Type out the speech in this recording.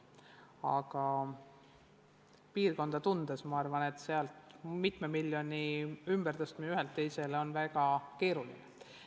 Aga seda piirkonda tundes ma arvan, et sealt mitme miljoni ümbertõstmine ühelt teisele on väga keeruline.